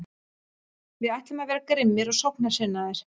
Við ætlum að vera grimmir og sóknarsinnaðir.